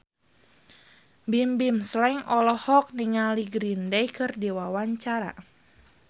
Bimbim Slank olohok ningali Green Day keur diwawancara